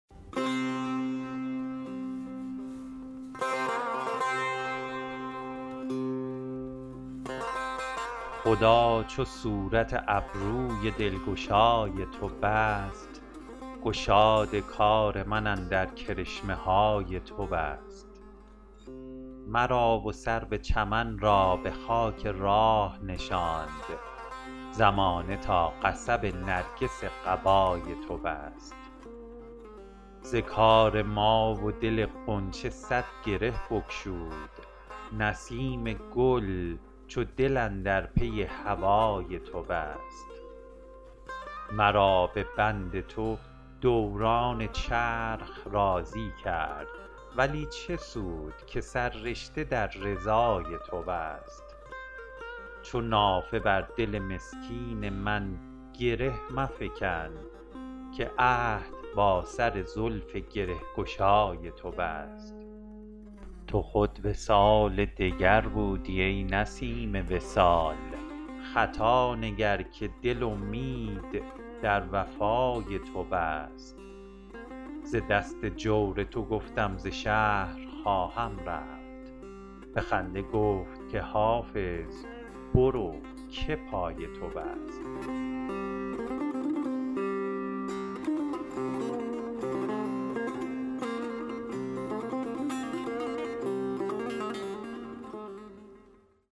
خدا چو صورت ابروی دلگشای تو بست گشاد کار من اندر کرشمه های تو بست مرا و سرو چمن را به خاک راه نشاند زمانه تا قصب نرگس قبای تو بست ز کار ما و دل غنچه صد گره بگشود نسیم گل چو دل اندر پی هوای تو بست مرا به بند تو دوران چرخ راضی کرد ولی چه سود که سررشته در رضای تو بست چو نافه بر دل مسکین من گره مفکن که عهد با سر زلف گره گشای تو بست تو خود وصال دگر بودی ای نسیم وصال خطا نگر که دل امید در وفای تو بست ز دست جور تو گفتم ز شهر خواهم رفت به خنده گفت که حافظ برو که پای تو بست